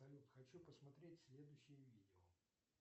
салют хочу посмотреть следующее видео